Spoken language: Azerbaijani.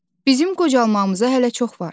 Bizim qocalmağımıza hələ çox var.